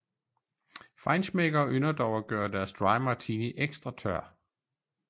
Feinschmeckere ynder dog at gøre deres dry martini ekstra tør